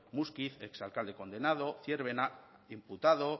muskiz ex alcalde condenado zierbena imputado